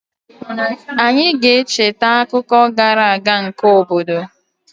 Anyị ga-echeta akụkọ gara aga nke obodo